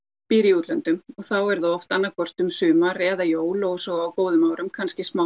býr í útlöndum þá er að oft annað hvort um sumar eða jól svo á góðum árum kannski smá